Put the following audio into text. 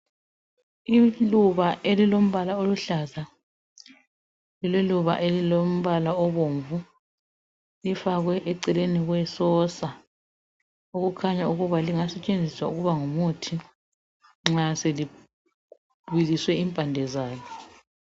Iluba elilombala oluhlaza. Iluba elilombala obomvu lifakwe eceleni kwesosa okukhanya ukuba lingasetshenziswa ukuba ngumuthi nxa selibiliswe impande zalo.